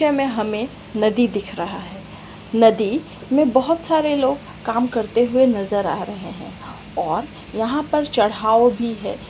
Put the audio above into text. इस दृश्य में हमें नदी दिख रहा है नदी में बहुत सारे लोग काम करते हुए नज़र आ रहे है और यहाँ पे चढ़ाव भी है।